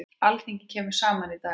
Alþingi kemur saman í dag.